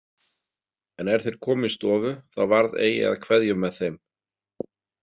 En er þeir komu í stofu þá varð eigi að kveðjum með þeim.